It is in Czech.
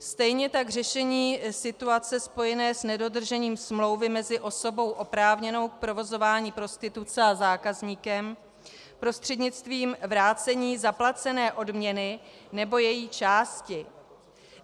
Stejně tak řešení situace spojené s nedodržením smlouvy mezi osobou oprávněnou k provozování prostituce a zákazníkem prostřednictvím vrácení zaplacené odměny nebo její části.